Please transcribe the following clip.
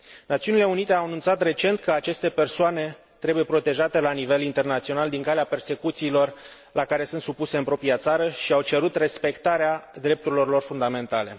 Națiunile Unite au anunțat recent că aceste persoane trebuie protejate la nivel internațional din calea persecuțiilor la care sunt supuse în propria țară și au cerut respectarea drepturilor lor fundamentale.